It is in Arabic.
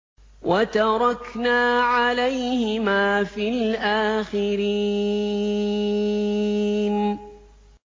وَتَرَكْنَا عَلَيْهِمَا فِي الْآخِرِينَ